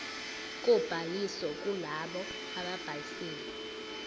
kobhaliso kulabo ababhalisile